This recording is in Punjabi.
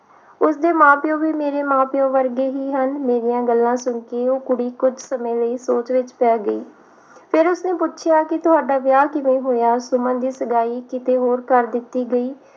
ਉਸਦੇ ਮਾਂ ਪਿਉ ਵੀ ਮੇਰੇ ਮਾਂ ਪਿਉ ਵਰਗੇ ਹੀ ਹਨ ਮੇਰੀਆਂ ਗੱਲਾਂ ਸੁਣ ਕੇ ਉਹ ਕੁੜੀ ਕੁਝ ਸਮੇਂ ਲਈ ਸੋਚ ਵਿਚ ਪੈ ਗਈ ਫਿਰ ਉਸਨੇ ਪੁੱਛਿਆ ਤੁਹਾਡਾ ਵਿਆਹ ਕਿਵੇਂ ਹੋਇਆ ਸੁਮਨ ਦੀ ਸਗਾਈ ਕਿਤੇ ਹੋਰ ਕਰ ਦਿੱਤੀ ਗਈ